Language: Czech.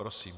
Prosím.